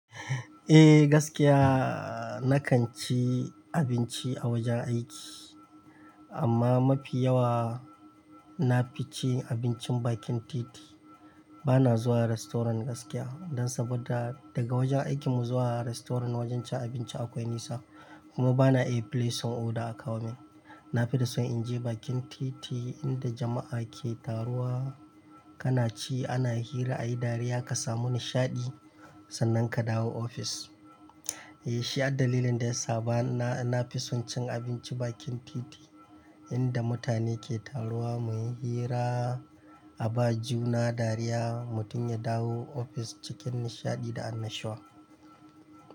Eh gaskiya na kan ci abinci a wajan aiki, amma mafi yawa nafi cin abincin bakin titi. Bana zuwa restaurant gaskiya dan saboda daga wajan aikinmu zuwa restaurant wajan cin abinci akwai nisa kuma bana iya placing order a kawo min. Nafi da son in je bakin titi inda jama'a ke taruwa, kana ci ana hira ayi dariya kasa mu nishaɗi sannan ka dawo ofis. Eh shi ad dalilin da yasa bana, nafi son cin abinci bakin titi inda mutane ke taruwa muyi hira a ba juna dariya mutum ya dawo ofis cikin nishaɗi da annashuwa.